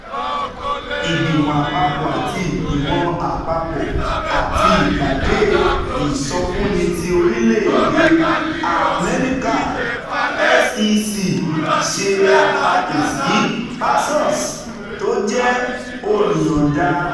Ìgbìmọ̀ Àpapọ̀ àti Ìgbìmọ̀ Àpapọ̀ àti Ìpàdé Ìsọfúnni ti Orílẹ̀-Èdè Amẹ́ríkà (SEC) ṣe àtakò sí Paxos, tó jẹ́ olùyọ̀ǹda